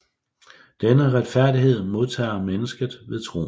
Denne retfærdighed modtager mennesket ved troen